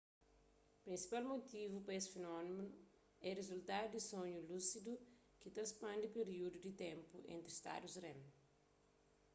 prinsipal mutivu pa es finómenu é rizultadu di sonhu lúsidu ki ta spandi períudu di ténpu entri stadus rem